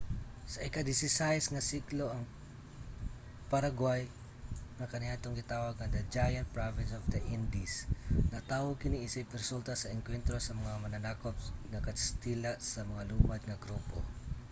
sa ika-16 nga siglo ang paraguay nga kaniadtong gitawag nga the giant province of the indies natawo kini isip resulta sa engkwentro sa mga mananakop nga kastila sa mga lumad nga grupo